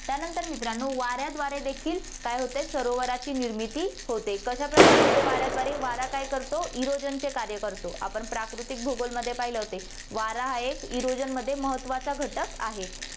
त्यानंतर मित्रांनो, वाऱ्याद्वारे देखील काय होते, सरोवराची निर्मिती होते, कशाप्रकारे होते वाऱ्याद्वारे, वारा काय करतो erosion चे कार्य करतो, आपण प्राकृतिक भूगोलमध्ये पहिले होते, वारा हा एक erosion मध्ये महत्वाचा घटक आहे.